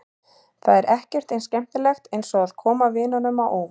Það er ekkert eins skemmtilegt eins og að koma vinunum á óvart.